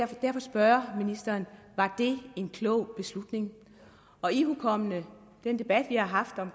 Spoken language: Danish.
derfor spørge ministeren var det en klog beslutning og ihukommende den debat vi har haft om